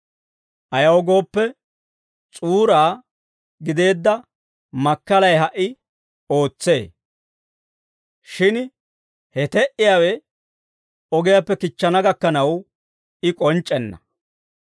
Ayaw gooppe, s'uuraa gideedda makkalay ha"i ootsee; shin he te"iyaawe ogiyaappe kichchana gakkanaw, I k'onc'c'enna.